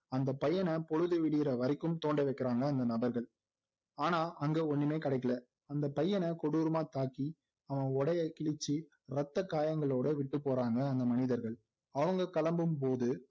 அந்த பையனை பொழுது விடியற வரைக்கும் தோண்ட வைக்கிறாங்க அந்த நபர்கள் ஆனா அங்க ஒண்ணுமே கிடைக்கல அந்த பையனை கொடூரமா தாக்கி அவன் உடையை கிழிச்சு இரத்த காயங்களோட விட்டு போறாங்க அந்த மனிதர்கள் அவங்க கிளம்பும்போது